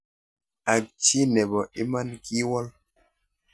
Akchi nebo iman kiwol